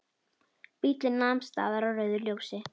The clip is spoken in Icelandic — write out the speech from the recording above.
Bíllinn nam staðar á rauðu ljósi.